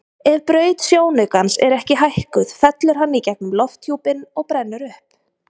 Ef braut sjónaukans er ekki hækkuð fellur hann í gegnum lofthjúpinn og brennur upp.